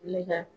Ne ka